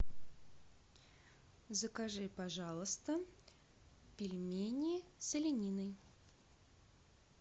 закажи пожалуйста пельмени с олениной